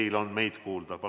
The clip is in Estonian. Palun!